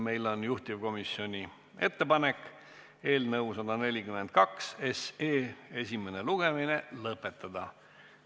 Meil on juhtivkomisjoni ettepanek eelnõu 142 esimene lugemine lõpetada.